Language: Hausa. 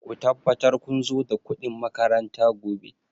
Ku tabbatar kun zo da kuɗin makaranta gobe!